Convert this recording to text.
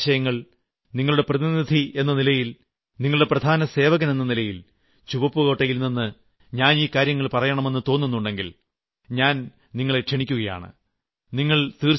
നിങ്ങളുടെ മനസ്സിൽ വരുന്ന ആശയങ്ങൾ നിങ്ങളുടെ പ്രതിനിധി എന്ന നിലയിൽ നിങ്ങളുടെ പ്രധാന സേവകൻ എന്ന നിലയിൽ ചുവപ്പ്കോട്ടയിൽ നിന്ന് ഞാൻ ഈ കാര്യങ്ങൾ പറയണമെന്ന് തോന്നുന്നുണ്ടെങ്കിൽ ഞാൻ നിങ്ങളെ ക്ഷണിക്കുകയാണ്